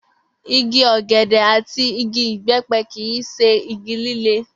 Igi ò̩gè̩dè̩ àti igi ìbé̩pe̩ kì í s̩e igi líle